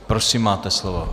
Prosím, máte slovo.